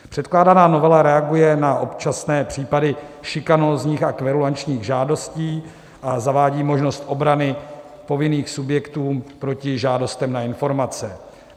Předkládaná novela reaguje na občasné případy šikanózních a kverulačních žádostí a zavádí možnost obrany povinných subjektů proti žádostem na informace.